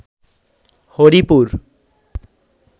Haripur